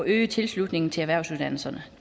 øge tilslutningen til erhvervsuddannelserne